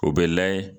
O bɛ layɛ